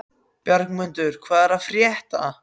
Bjargmundur, hvað er að frétta?